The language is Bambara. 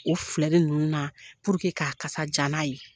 O filɛru ninnu na puruke k'a kasa ja n'a ye